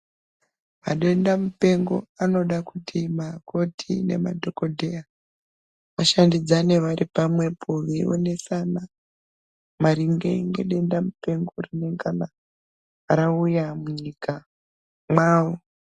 Madenda mupengo anoda kuti Makoti nemadhokodheya vashandidzane vari pamwepo veionesaana maringe nedenda mupengo rinongana rauya munyika mavo.